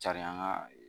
Carin an ka